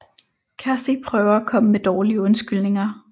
Kathy prøver at komme med dårlige undskyldninger